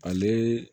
Ale